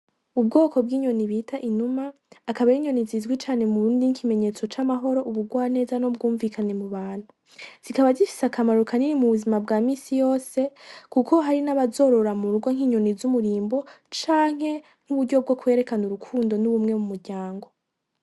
Ubwoko bw'inyoni bita inuma, akaba ari inyoni zizwi cane nkikimenyetso c'amahoro, ubugwaneza, n'ubwumvikane mu bantu. Zikaba zifise akamaro kanini mu buzima bwa minsi yose, kuko hari n'abazorora mu rugo nk'inyoni z'umurimbo canke nkuburyo bwo kwerekana urukundo n'ubumwe mumuryango.